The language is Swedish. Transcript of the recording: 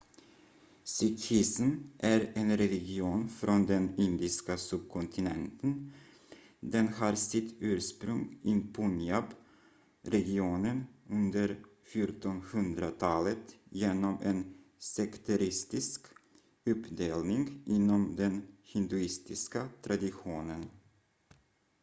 sikhism är en religion från den indiska subkontinenten den har sitt ursprung i punjab-regionen under 1400-talet genom en sekteristisk uppdelning inom den hinduistiska traditionen